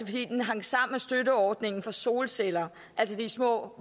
fordi den hang sammen med støtteordningen for solceller altså de små